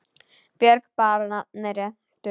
Björg bar nafn með rentu.